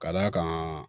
Ka d'a kan